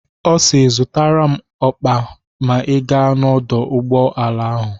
Ọ si "Zụtara m ọkpa ma ị gaa n'ọdụ ụgbọala ahụ"